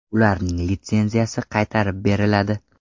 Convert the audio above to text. Ularning litsenziyasi qaytarib beriladi.